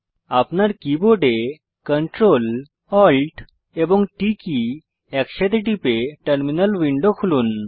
আপনার কীবোর্ডCtrl Alt এবং T একসাথে টিপে টার্মিনাল উইন্ডো খুলুন